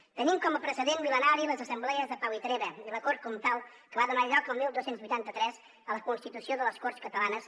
tenim com a precedent mil·lenari les assemblees de pau i treva i la cort comtal que va donar lloc el dotze vuitanta tres a la constitució de les corts catalanes